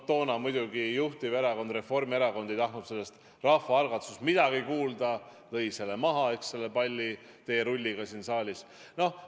Toona muidugi juhtiverakond Reformierakond ei tahtnud sellest midagi kuulda ja lõi selle palli teerulliga siin saalis maha.